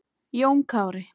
Jón Kári.